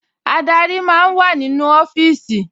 Adarí máa ń wà nínú ọfíìsì